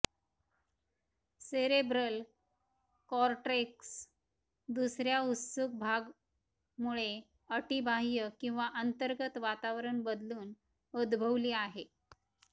cerebral cortex दुसर्या उत्सुक भाग मुळे अटी बाह्य किंवा अंतर्गत वातावरण बदलून उद्भवली आहे